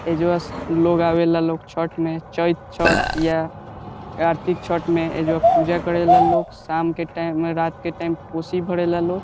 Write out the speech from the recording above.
एज्वा लोग आवेला लोग छठ में चइत छठ या कार्तिक छठ में एइजा पूजा करेला लोग शाम के टाइम रात के टाइम में कोशी भरेला लोग।